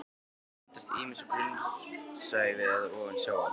Lögin hafa myndast ýmist á grunnsævi eða ofan sjávarmáls.